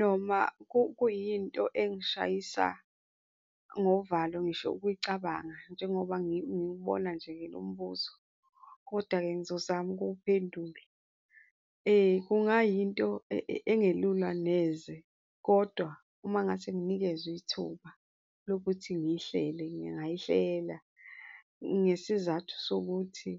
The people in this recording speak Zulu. Noma kuyinto engishayisa ngovalo ngisho ukuyicabanga njengoba ngiwubona nje-ke lombuzo, kodwa-ke ngizozama ukuwuphendula. Kungayinto engelula neze kodwa uma ngase nginikezwa ithuba lokuthi ngiyihlele, ngingayihlela ngesizathu sokuthi,